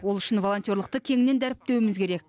ол үшін волонтерлықтык кеңінен дәріптеуіміз керек